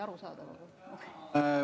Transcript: Ma just ütlesin, et mõte oli arusaadav.